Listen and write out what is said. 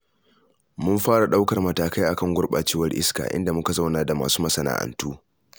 Mun fara ɗaukar matakai a kan gurɓacewar iska, inda muka zauna da masu masana'antu.